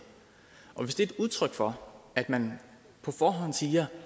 og hvis det er et udtryk for at man på forhånd siger